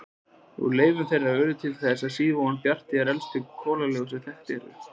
Úr leifum þeirra urðu til á síð-devon á Bjarnarey elstu kolalög sem þekkt eru.